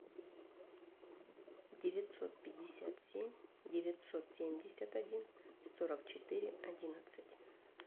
девятьсот пятьдесят семь девятьсот семьдесят один сорок четыре одиннадцать